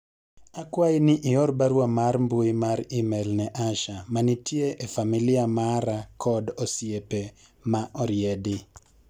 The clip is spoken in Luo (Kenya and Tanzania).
akwayi ni ior barua mar mbui mar email ne Asha manitie e familia mara kod osiepe ma oriedi